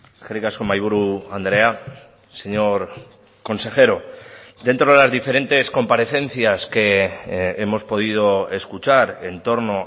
eskerrik asko mahaiburu andrea señor consejero dentro de las diferentes comparecencias que hemos podido escuchar en torno